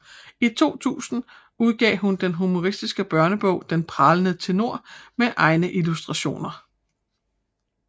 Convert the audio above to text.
I 2000 udgav hun den humoristiske børnebog Den Pralende Tenor med egne illustrationer